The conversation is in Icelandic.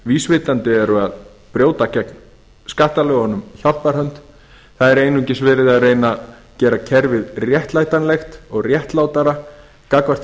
vísvitandi brjóta gegn skattalögunum hjálparhönd það er einungis verið að reyna að gera kerfið réttlætanlegt og réttlátara gagnvart því